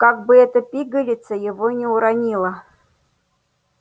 как бы эта пигалица его не уронила